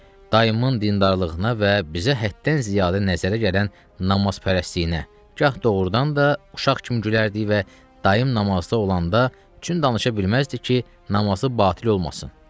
Dayımın dindarlığına və bizə həddən ziyadə nəzərə gələn namazpərəstliyinə gah doğrudan da uşaq kimi gülərdik və dayım namazda olanda tüün danışa bilməzdik ki, namazı batil olmasın.